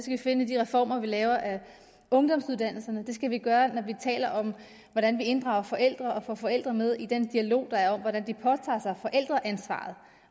vi finde i de reformer vi laver af ungdomsuddannelserne og det skal vi gøre når vi taler om hvordan vi inddrager forældre og får forældre med i den dialog der er om hvordan de påtager sig forældreansvaret